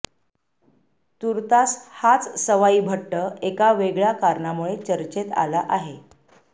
तूर्तास हाच सवाई भट्ट एका वेगळ्या कारणामुळे चर्चेत आला आहे